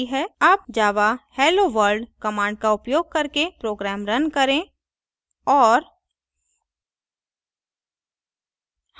अब java helloworld command का उपयोग करके program now करें और